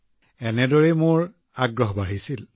তেনেকৈয়ে মোৰ আগ্ৰহ বাঢ়ি গল